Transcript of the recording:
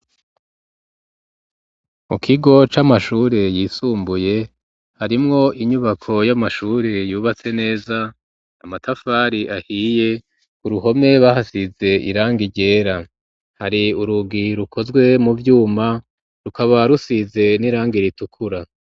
Mu kigo c'amashure yisumbuye harimwo inyubako y'amashure yubatse neza, amatafari ahiye ku ruhome bahasize irangi ryera hari urugi rukozwe mu vyuma rukaba rusize n'iranga ritukura.